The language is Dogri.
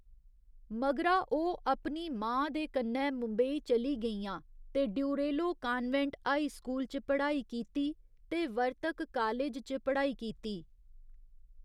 मगरा ओह्‌‌ अपनी मां दे कन्नै मुंबई चली गेइयां ते ड्यूरेलो कान्वेंट हाई स्कूल च पढ़ाई कीती ते वर्तक कालेज च पढ़ाई कीती।